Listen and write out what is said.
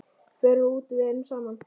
Förum út, verum saman.